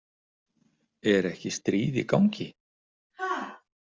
Er ekki stríð í gangi?